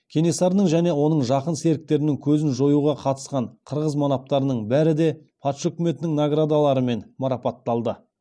кенесарының және оның жақын серіктерінің көзін жоюға қатысқан қырғыз манаптарының бәрі де патша үкіметінің наградаларымен марапатталды